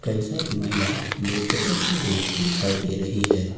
कई सारी महिलाएं नृत्य करती हुई दिखाई दे रही है।